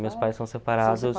Meus pais são separados.